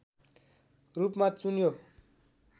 रूपमा चुन्यो